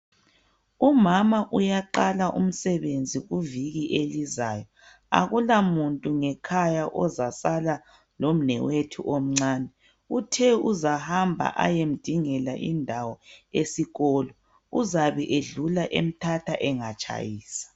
Umama uyaqala umsebenzi kuviki elizayo akula muntu ngekhaya ozasala lomnewethu omncane uthe uzahamba ayemdingela indawo esikolo uzabe edlula emthatha engatshayisa.